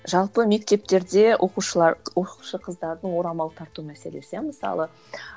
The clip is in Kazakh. жалпы мектептерде оқушылар оқушы қыздардың орамал тарту мәселесі иә мысалы